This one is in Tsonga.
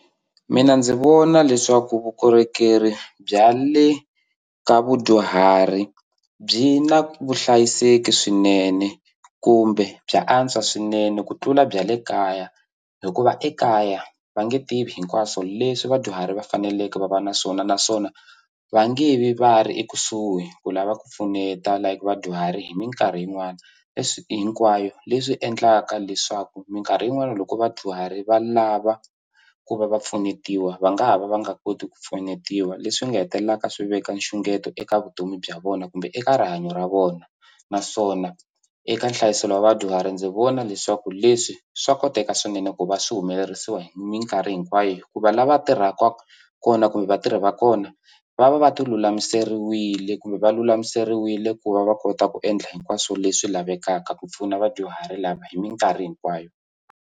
Mina ndzi vona leswaku vukorhokeri bya le ka vadyuhari byi na vuhlayiseki swinene kumbe bya antswa swinene ku tlula bya le kaya hikuva ekaya va nge tivi hinkwaswo leswi vadyuhari va faneleke va va na swona naswona va nge vi va ri ekusuhi ku lava ku pfuneta like vadyuhari hi minkarhi yin'wani leswi hinkwayo leswi endlaka leswaku minkarhi yin'wani loko vadyuhari va lava ku va va pfunetiwa va nga ha va va nga koti ku pfunetiwa leswi nga hetelelaka swi veka nxungeto eka vutomi bya vona kumbe eka rihanyo ra vona naswona eka nhlayiso lowa vadyuhari ndzi vona leswaku leswi swa koteka swinene ku va swi humelerisiwa hi minkarhi hinkwayo hikuva lava tirhaka kona kumbe vatirhi va kona va va va ti lulamiseriwile kumbe va lulamiseriwile ku va va kota ku endla hinkwaswo leswi lavekaka ku pfuna vadyuhari lava hi minkarhi hinkwayo.